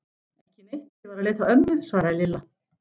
Ekki neitt, ég var að leita að ömmu svaraði Lilla.